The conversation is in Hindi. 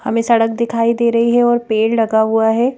हमें सड़क दिखाई दे रही है और पेड़ लगा हुआ है।